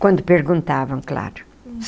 Quando perguntavam, claro.